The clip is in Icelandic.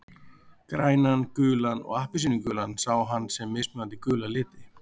Grænan, gulan og appelsínugulan sá hann sem mismunandi gula liti.